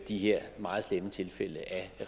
de her meget slemme tilfælde af